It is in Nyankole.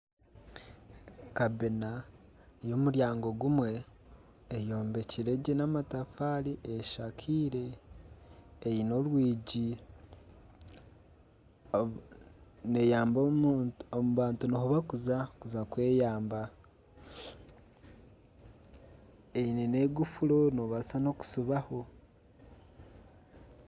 Kamina y'omuryango gumwe eyombekire gye n'amatafaari eshakaire eine orwigi. Abantu niho barikuza kuza kweyamba eine n'ekufuru nobaasa n'okusibaho.